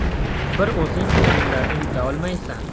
Bir o‘zing o‘yinlarni yuta olmaysan”.